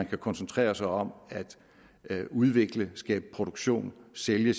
kan koncentrere sig om udvikle skabe produktion sælge